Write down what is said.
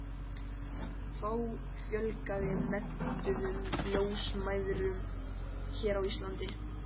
Þá fjölgaði menntuðum ljósmæðrum hér á landi.